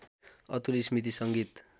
अतुल स्‍मृति संगीत